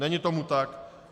Není tomu tak.